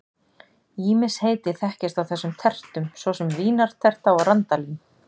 Ýmis heiti þekkjast á þessum tertum, svo sem vínarterta og randalín.